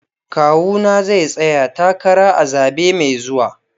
Kawuna zai tsaya takara a zabe mai zuwa.